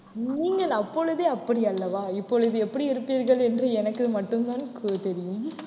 நீங்கள் அப்பொழுதே அப்படி அல்லவா இப்பொழுது எப்படி இருப்பீர்கள் என்று எனக்கு மட்டும்தான் தெரியும்